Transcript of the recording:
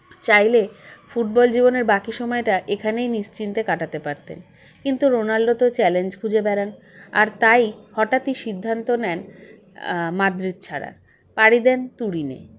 চাইলে football জীবনের বাকী সময়টা এখানেই নিশ্চিন্তে কাটাতে পারতেন কিন্তু রোনাল্ডো তো challenge খুঁজে বেড়ান আর তাই হঠাৎই সিদ্ধান্ত নেন আ মাদ্রিদ ছাড়ার পারি দেন তুরিনে